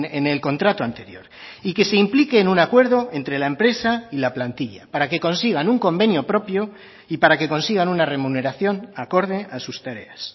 en el contrato anterior y que se implique en un acuerdo entre la empresa y la plantilla para que consigan un convenio propio y para que consigan una remuneración acorde a sus tareas